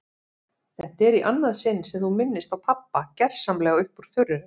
Þetta er í annað sinn sem þú minnist á pabba gersamlega upp úr þurru.